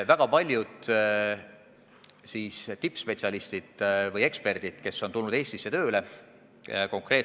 Väga paljud tippspetsialistid või eksperdid, kes on tulnud Eestisse tööle, on asja kohta uurinud.